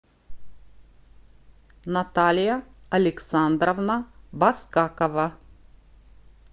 наталья александровна баскакова